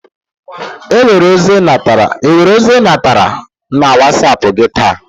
Enwere ozi I natara na wasap gị taa?